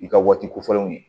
I ka waati kofɔlenw ye